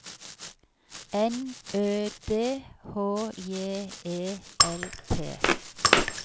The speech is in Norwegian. N Ø D H J E L P